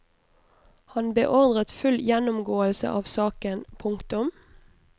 Han beordret full gjennomgåelse av saken. punktum